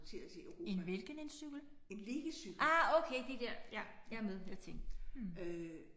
En hvilken en cykel? Ah okay de der ja jeg er med jeg tænkte hm